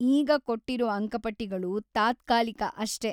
ಈಗ ಕೊಟ್ಟಿರೋ ಅಂಕಪಟ್ಟಿಗಳು ತಾತ್ಕಾಲಿಕ ಅಷ್ಟೇ.